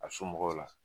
A somɔgɔw la